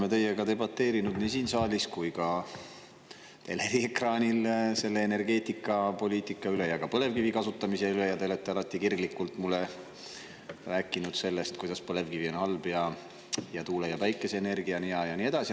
Me oleme teiega debateerinud nii siin saalis kui ka teleekraanil energeetikapoliitika üle ja ka põlevkivi kasutamise üle ja te olete alati kirglikult mulle rääkinud sellest, kuidas põlevkivi on halb ja tuule- ja päikeseenergia on hea, ja nii edasi.